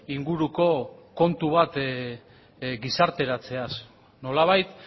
inguruko kontu bat gizarteratzeaz nolabait